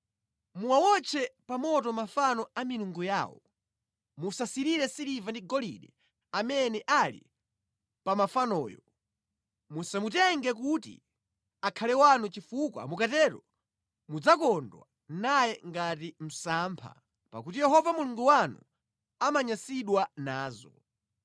Muwawotche pa moto mafano a milungu yawo. Musasirire siliva ndi golide amene ali pa mafanoyo. Musamutenge kuti akhale wanu chifukwa mukatero mudzakodwa naye ngati msampha, pakuti Yehova Mulungu wanu amanyansidwa nazo.